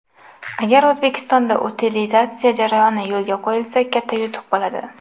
Agar O‘zbekistonda utilizatsiya jarayoni yo‘lga qo‘yilsa, katta yutuq bo‘ladi.